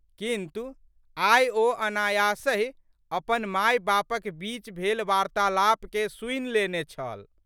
किन्तु, आइ ओ अनायासहि अपन मायबापक बीच भेल वार्त्तालापकेँ सुनि लेने छल।